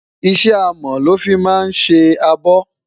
iṣẹ amo lọ fí má sé àbò